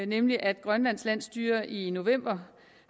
nemlig at grønlands landsstyre i november